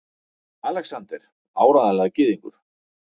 ALEXANDER: Áreiðanlega gyðingur!